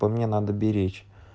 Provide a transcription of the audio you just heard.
по мне надо беречь